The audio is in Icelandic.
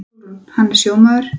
SÓLRÚN: Hann er sjómaður.